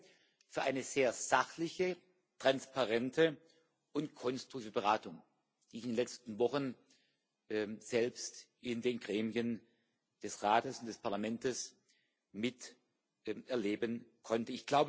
Ich danke für eine sehr sachliche, transparente und konstruktive Beratung, die ich in den letzten Wochen selbst in den Gremien des Rates, des Parlamentes miterleben konnte.